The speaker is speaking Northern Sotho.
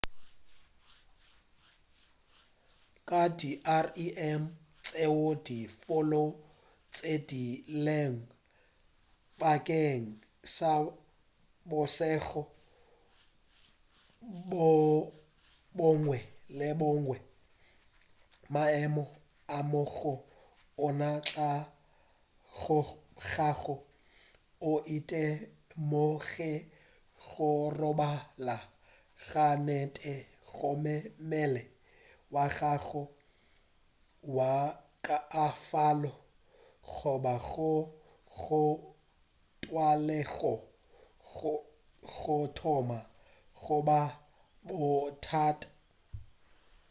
ka di rem tšeo di fokotšegilego bakeng sa bošego bjo bongwe le bjo bongwe maemo ao go ona o tlogago o itemogela go robala ga nnete gomme mmele wa gago wa kaonafala goba go go tlwaelegego go thoma go ba bothata